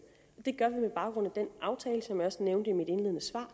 det gør vi med baggrund i den aftale som jeg også nævnte i mit indledende svar